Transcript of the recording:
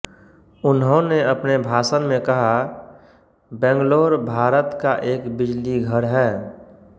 उन्होंने अपने भाषण में कहाबैंगलोर भारत का एक बिजलीघर है